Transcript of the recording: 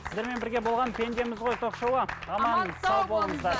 сіздермен бірге болған пендеміз ғой ток шоуы аман сау болыңыздар